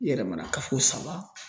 I yɛrɛ mana kafo saba